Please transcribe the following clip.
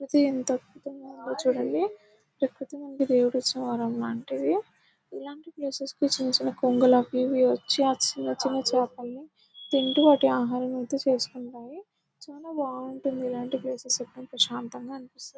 ఇది ఎంత అద్భుతంగ ఉందొ చూడండి కాకపోతే మనకి ఇది దేవుడు ఇచ్చిన వరం లాంటిది ఇలాంటి ప్లేసెస్ కి చిన్న చిన్న కొంగలు అవి ఇవి వచ్చి ఆ చిన్న చిన్న చేపల్ని తింటూ వాటి ఆహారం ఐతే చేసుకుంటాయి చాలా బాగుంటది ఇలాంటి ప్లేసెస్ చాలా ప్రశాంతంగా అనిపిస్తది .